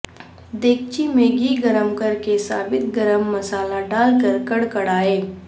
دیگچی میں گھی گرم کرکے ثابت گرم مصالحہ ڈال کر کڑکڑائیں